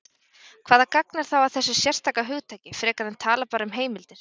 Hvaða gagn er þá að þessu sérstaka hugtaki, frekar en tala bara um heimildir?